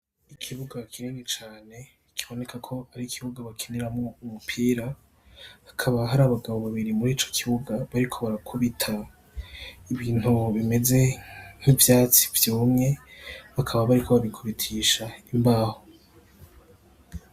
Ikibuga kinini cane kiboneka ko ari ikibuga bakiniramwo umupira, hakaba hari abagabo babiri muri ico kibuga bariko barakubita ibintu bimeze nk'ivyatsi vyumye, bakaba bariko babikubitisha imbaho.